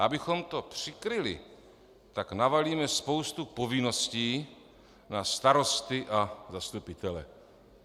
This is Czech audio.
A abychom to přikryli, tak navalíme spoustu povinností na starosty a zastupitele.